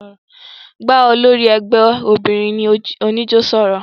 Bà ólòri ẹgbẹ óbinrin onijó sọrọ!